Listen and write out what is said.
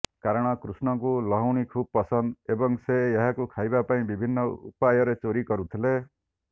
କାରଣ କୃଷ୍ଣଙ୍କୁ ଲହୁଣୀ ଖୁବ୍ ପସନ୍ଦ ଏବଂ ସେ ଏହାକୁ ଖାଇବା ପାଇଁ ବିଭିନ୍ନ ଉପାୟରେ ଚୋରୀ କରୁଥିଲେ